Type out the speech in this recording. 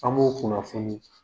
An b'o kunnafoni.